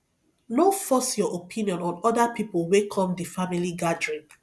no force your own opinion on oda pipo wey come di family gathering